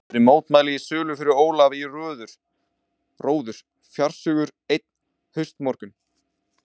Þrátt fyrir mótmæli Sólu fór Ólafur í róður fársjúkur, einn haustmorgun.